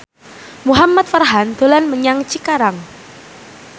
Muhamad Farhan dolan menyang Cikarang